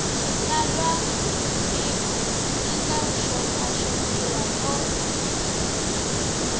xitsalwambiko xi nga xopaxopiwa no